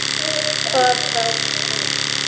Hvað þá hinn.